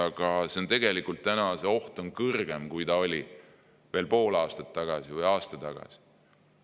Aga tegelikult on see oht praegu kõrgem, kui ta oli veel pool aastat või aasta tagasi.